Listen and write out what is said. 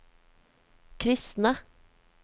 kristne